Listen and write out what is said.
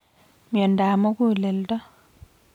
Miondap muguleldo